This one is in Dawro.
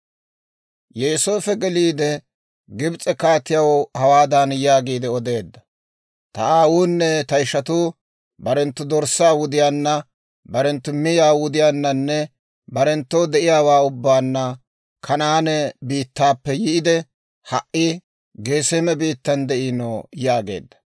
Yooseefo geliide Gibs'e kaatiyaw hawaadan yaagiide odeedda; «Ta aawunne ta ishatuu, barenttu dorssaa wudiyaanna, barenttu miyaa wudiyaannanne barenttoo de'iyaawaa ubbaanna Kanaane biittaappe yiide, ha"i Geseeme biittan de'ino» yaageedda.